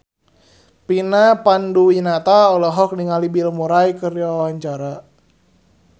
Vina Panduwinata olohok ningali Bill Murray keur diwawancara